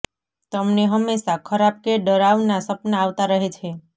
તમને હંમેશા ખરાબ કે ડરાવના સપના આવતા રહે છે